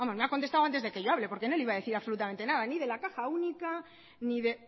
vamos me ha contestado antes de que yo hable porque no le iba a decir absolutamente nada ni de la caja única ni de